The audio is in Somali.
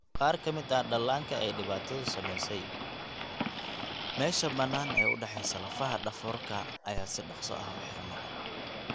Qaar ka mid ah dhallaanka ay dhibaatadu saameysey, meesha bannaan ee u dhexeysa lafaha dhafoorka ayaa si dhaqso ah u xirma (craniosynostosiska).